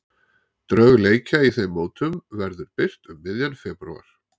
Drög leikja í þeim mótum verður birt um miðjan febrúar.